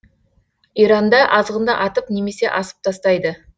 иранда азғынды атып немесе асып тастайды